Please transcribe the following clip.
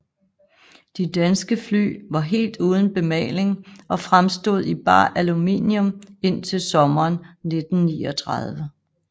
De danske fly var helt uden bemaling og fremstod i bar aluminium indtil sommeren 1939